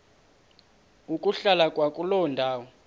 ukuhlala kwakuloo ndawo